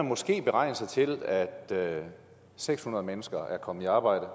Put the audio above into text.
måske kan beregne sig til at seks hundrede mennesker er kommet i arbejde